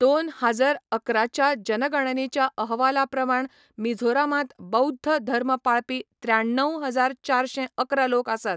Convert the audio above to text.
दोन हाजर अकराच्या जनगणनेच्या अहवाला प्रमाण मिझोरामांत बौध्द धर्म पाळपी त्र्याण्णव हजार चारशें अकरा लोक आसात.